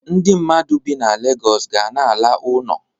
Ndi mmadụ bi na Legọs ga na-ala uno.